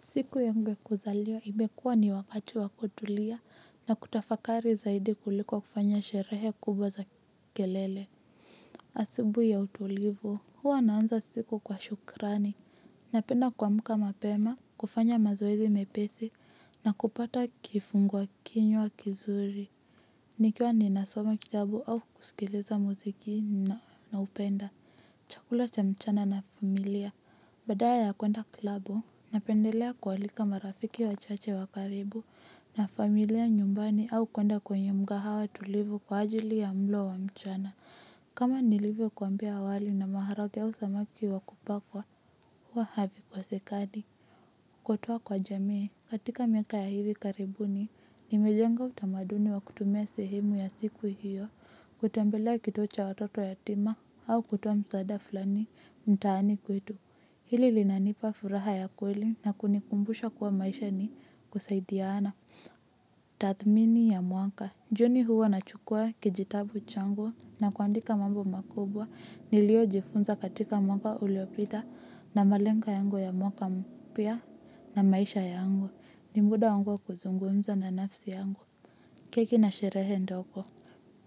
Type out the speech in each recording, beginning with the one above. Siku yangu ya kuzaliwa imekua ni wakati wa kutulia na kutafakari zaidi kuliko kufanya sherehe kubwa za kelele. Asubuhi ya utulivu. Huwa naanza siku kwa shukrani. Napenda kuamka mapema, kufanya mazoezi mepesi na kupata kifungua kinywa kizuri. Nikiwa ninasoma kitabu au kusikiliza muziki naupenda. Chakula cha mchana na familia. Badala ya kuenda klabu. Napendelea kualika marafiki wachache wa karibu na familia nyumbani au kwenda kwenye mkahawa tulivu kwa ajili ya mlo wa mchana. Kama nilivyokuambia awali na maharagwe au samaki wa kupakwa, huwa havikosekani. Kutoa kwa jamii katika miaka ya hivi karibuni, nimejenga utamaduni wa kutumia sehemu ya siku hiyo. Kutembelea kituo cha watoto yatima au kutoa msaada fulani, mtaani kwetu. Hili linanipa furaha ya kweli na kunikumbusha kuwa maisha ni kusaidiana. Tathmini ya mwaka. Juni huwa nachukua kijitabu changu na kuandika mambo makubwa. Niliyojifunza katika mwaka uliopita na malengo yangu ya mwaka mpya na maisha yangu. Ni muda wangu kuzungumza na nafsi yangu. Keki na sherehe ndogo.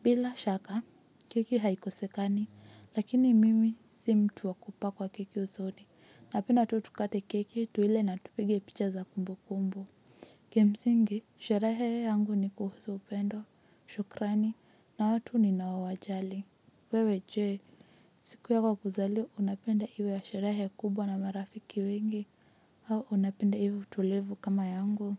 Bila shaka, keki haikosekani. Lakini mimi si mtu wa kupakwa keki usoni. Napenda tu tukate keki tuile na tupige picha za kumbu kumbu. Kimsingi, sherehe yangu ni kuhusu upendo, shukrani, na watu ninaowajali. Wewe je, siku yako ya kuzaliwa unapenda iwe ya sherehe kubwa na marafiki wengi, au unapenda iwe tulivu kama yangu.